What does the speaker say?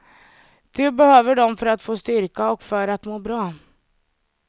Du behöver dem för att få styrka och för att må bra.